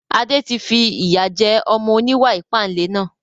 Adé tí fi ìyà jẹ ọmọ oníwà ìpánle náà